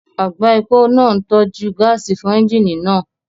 Àgbá epo náà ń tọ́jú gáàsì fún ẹ́ńjíìnì náà